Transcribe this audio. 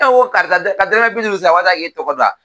E ko karisa ka dɔrɔmɛ bi duuru sara walasa k'e tɔgɔ da.